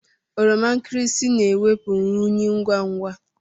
Oroma nkịrịsị na-ewepụ unyị ngwa ngwa.